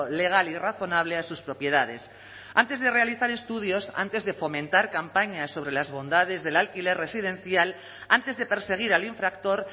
legal y razonable a sus propiedades antes de realizar estudios antes de fomentar campañas sobre las bondades del alquiler residencial antes de perseguir al infractor